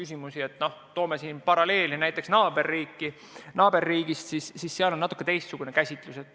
Siin võib tuua paralleele naaberriigist, kus on natuke teistsugune käsitus.